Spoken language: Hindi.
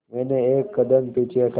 मैंने एक कदम पीछे हटाया